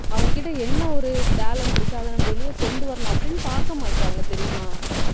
அவங்க கிட்ட என்ன ஒரு talent இருக்கு அதை நம்ம வெளிய கொண்டு வரணும் அப்படின்னு பார்க்க மாட்றாங்க தெரியுமா